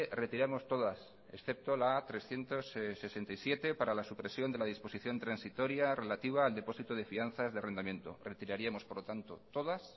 retiramos todas excepto la trescientos sesenta y siete para la supresión de la disposición transitoria relativa al depósito de fianzas de arrendamiento retiraríamos por lo tanto todas